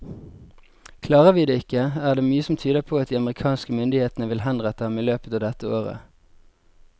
Klarer vi det ikke, er det mye som tyder på at de amerikanske myndighetene vil henrette ham i løpet av dette året.